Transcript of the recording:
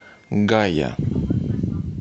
гая